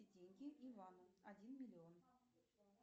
деньги ивану один миллион